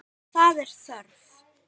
Það er þörf.